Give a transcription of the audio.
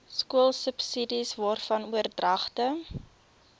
skoolsubsidies waarvan oordragte